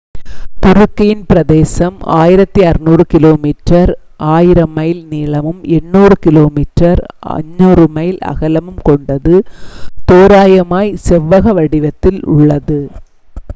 துருக்கியின் பிரதேசம் 1,600 kilometre 1,000 mile நீளமும் 800 கிமீ 500 மைல் அகலமும் கொண்டது தோராயமாகச் செவ்வக வடிவத்தில் உள்ளது